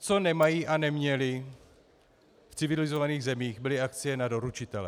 Co nemají a neměli v civilizovaných zemích, byly akcie na doručitele.